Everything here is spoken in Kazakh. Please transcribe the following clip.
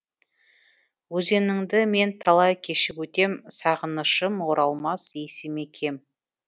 өзеніңді мен талай кешіп өтем сағынышым оралмас есіме кем